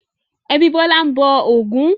Ẹbí Bọ́lá ń bọ Ògún.